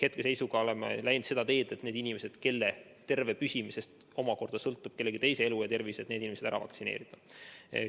Hetkel oleme läinud seda teed, et need inimesed, kelle terve püsimisest sõltub kellegi teise elu ja tervis, ära vaktsineerida.